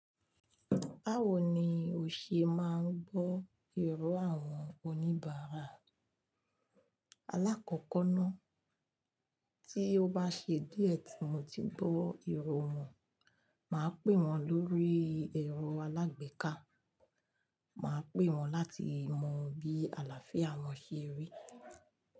Báwo ni o ṣe máa ń gbọ́ èrò àwọn oníbàárà? Alákọ̀kọ́ ná, tí ó bá ṣe díẹ̀ tí mo ti gbọ́ ìró wọn, màá pè wọ́n lórí ẹ̀rọ alágbèéká. Màá pè wọ́n láti mọ bí àlàáfíà wọn ṣe rí.